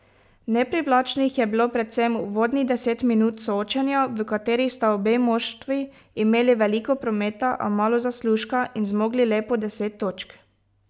Neprivlačnih je bilo predvsem uvodnih deset minut soočenja, v katerih sta obe moštvi imeli veliko prometa, a malo zaslužka, in zmogli le po deset točk.